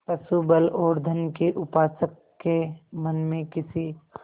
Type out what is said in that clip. पशुबल और धन के उपासक के मन में किसी